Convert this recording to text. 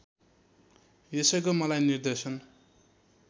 यसैको मलाई निर्देशन